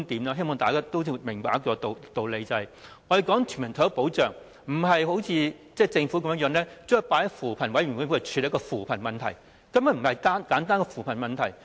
我希望大家都明白一個道理，也就是我們所說的全民退休保障，並非如政府現時的做法般，把它放在扶貧委員會處理的扶貧問題，因為這根本不是簡單的扶貧問題。